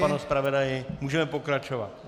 Pane zpravodaji, můžeme pokračovat.